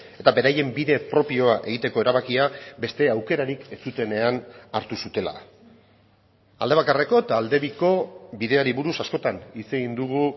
eta beraien bide propioa egiteko erabakia beste aukerarik ez zutenean hartu zutela aldebakarreko eta aldebiko bideari buruz askotan hitz egin dugu